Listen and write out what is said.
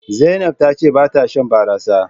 Zainab ta ce ba ta Shan barasa.